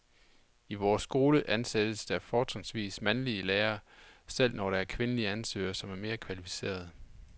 I vores skole ansættes der fortrinsvis mandlige lærere, selv når der er kvindelige ansøgere, som er mere kvalificerede.